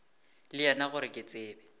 le yena gore ke tsebe